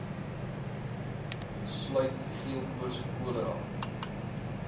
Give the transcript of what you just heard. sluit geelkoors cholera